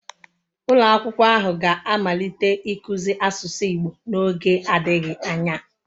Ulo akwukwo ahu ga-amalite ikuzi asusu igbo n'oge adighi anya